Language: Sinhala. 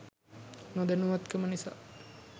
නොදැනුවත් කම නිසා